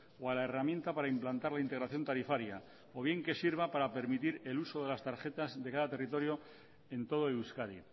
o a la herramienta para implantar la integración tarifaria o bien que sirva para permitir el uso de las tarjetas de cada territorio en todo euskadi